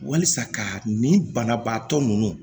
Walisa ka nin banabaatɔ ninnu